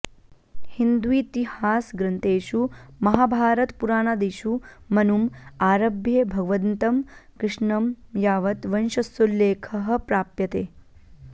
हिन्द्वितिहासग्रन्थेषु महाभारतपुराणादिषु मनुम् आरभ्य भगवन्तं कृष्णं यावत् वंशस्योल्लेखः प्राप्यते